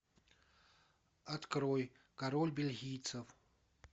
открой король бельгийцев